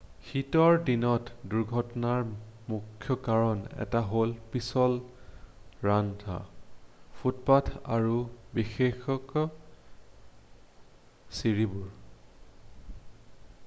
শীতৰ দিনত দুৰ্ঘটনাৰ মুখ্য কাৰণ এটা হ'ল পিছল ৰাস্তা ফুটপথ আৰু বিশেষকৈ ছিৰিবোৰ